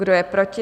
Kdo je proti?